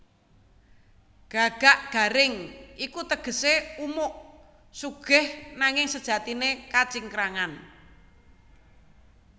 Gagak garing iku tegesé umuk sugih nanging sejatiné kacingkrangan